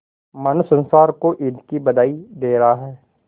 मानो संसार को ईद की बधाई दे रहा है